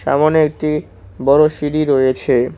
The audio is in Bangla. সামোনে একটি বড় সিঁড়ি রয়েছে।